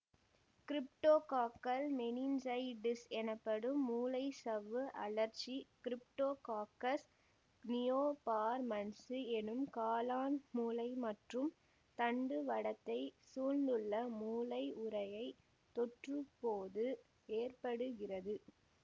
cryptococcal meningitis எனப்படும் மூளைச்சவ்வு அழற்சி கிரிப்டோகாக்கஸ் நியோபார்மன்சு எனும் காளான் மூளை மற்றும் தண்டுவடத்தை சூழ்ந்துள்ள மூளை உறையைத் தொற்றும்போது ஏற்படுகிறது